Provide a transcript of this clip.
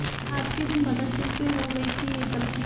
आज के दिन भगत सिंह से हो गई थी एक गलती